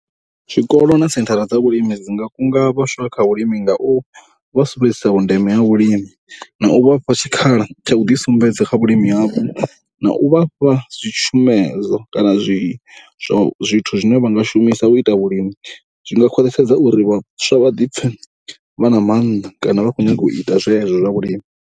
Zwikolo na senthara dza vhulimi dzi nga kunga vhaswa kha vhulimi nga u sumbedzisa vhundeme ha vhulimi na u vha fha tshikhala tsha u ḓisumbedza kha vhulimi havho. Na u vha fha dzi tshumedzwa kana zwi, zwithu zwine vha nga shumisa u ita vhulimi. Zwi nga khwaṱhisedza uri vhaswa vha ḓi pfhe vha na maanḓa kana vha khou nyanga u ita zwezwo zwa vhulimi.